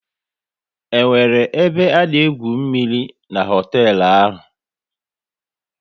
Is there swimming pool at that hotel?